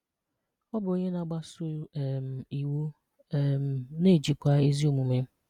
Ọ bụ onye na-agbàsọ́ um iwu um na-ejiíkwà ezi omume.